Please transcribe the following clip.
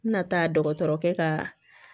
N bɛna taa dɔgɔtɔrɔkɛ ka